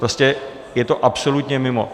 Prostě je to absolutně mimo!